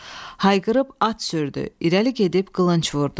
Hayqırıb at sürdü, irəli gedib qılınc vurdu.